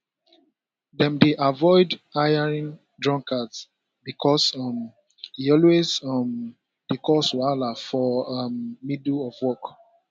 dem dey avoid hiring drunkards because um e always um dey cause wahala for um middle of work